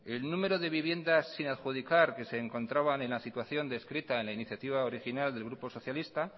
el número de vivienda sin adjudicar que se encontraban en la situación descrita en la iniciativa original del grupo socialista